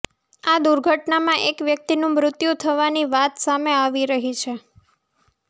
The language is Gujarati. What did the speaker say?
આ દુર્ઘટનામાં એક વ્યકિતનું મૃત્યુ થવાની વાત સામે આવી રહી છે